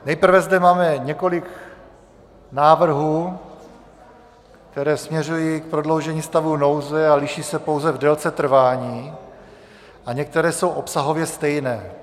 Nejprve zde máme několik návrhů, které směřují k prodloužení stavu nouze a liší se pouze v délce trvání, a některé jsou obsahově stejné.